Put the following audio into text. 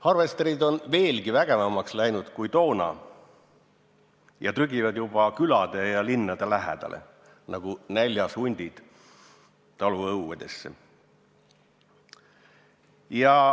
Harvesterid on veelgi vägevamaks läinud ja trügivad juba külade ja linnade lähedale nagu näljas hundid taluõuedesse.